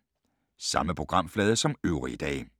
Samme programflade som øvrige dage